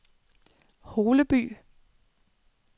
Holeby